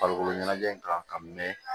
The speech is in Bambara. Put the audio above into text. Farikolo ɲɛnajɛ kan ka mɛn